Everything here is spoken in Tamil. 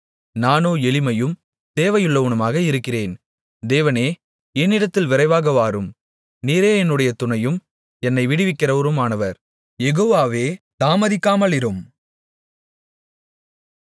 நானோ எளிமையும் தேவையுள்ளவனுமாக இருக்கிறேன் தேவனே என்னிடத்தில் விரைவாக வாரும் நீரே என்னுடைய துணையும் என்னை விடுவிக்கிறவருமானவர் யெகோவாவே தாமதிக்காமலிரும்